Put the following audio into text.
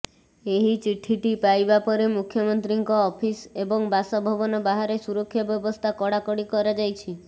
ଏହି ଚିଠିଟି ପାଇବା ପରେ ମୁଖ୍ୟମନ୍ତ୍ରୀଙ୍କ ଅଫିସ ଏବଂ ବାସଭବନ ବାହାରେ ସୁରକ୍ଷା ବ୍ୟବସ୍ଥା କଡ଼ାକଡ଼ି କରାଯାଇଛି